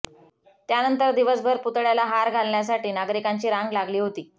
त्यानंतर दिवसभर पुतळ्याला हार घालण्यासाठी नागरिकांची रांग लागली होती